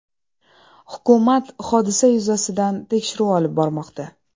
Hukumat hodisa yuzasidan tekshiruv olib bormoqda.